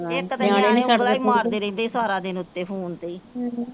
ਇੱਕ ਤੇ ਨਿਆਣੇ ਉਂਗਲਾਂ ਈ ਮਾਰਦੇ ਰਹਿੰਦੇ ਈ ਸਾਰਾ ਦਿਨ ਉੱਤੇ ਫੋਨ ਤੇ